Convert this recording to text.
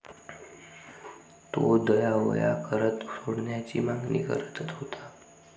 तो दयावया करत सोडण्याची मागणी करतत होता.